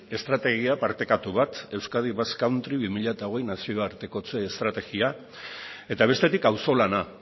estrategia partekatu bat euskadi basque country bi mila hogei nazioartekotze estrategia eta bestetik auzolana